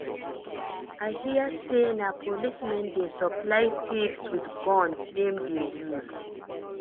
I hear say na police men dey supply thieves with gun dem dey use